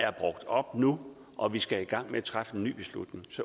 er brugt op nu og vi skal i gang med at træffe en ny beslutning